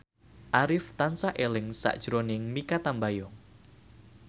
Arif tansah eling sakjroning Mikha Tambayong